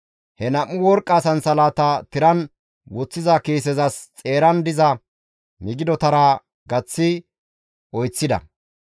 He nam7u worqqa sansalatata tiran woththiza kiisezas xeeran diza migidotara gaththi oyseththida.